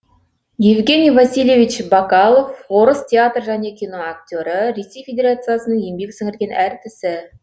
евгений васильевич бакалов орыс театр және киноактері ресей федерациясының еңбек сіңірген әртісі